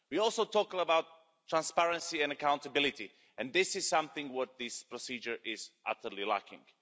We also talk about transparency and accountability and this is something that this procedure is utterly lacking.